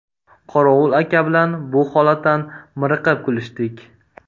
Qorovul aka bilan bu holatdan miriqib kulishdik.